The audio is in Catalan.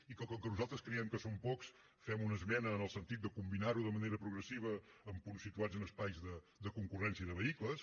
i com que nosaltres creiem que són pocs fem una esmena en el sentit de combinar ho de manera progressiva amb punts situats en espais de concurrència de vehicles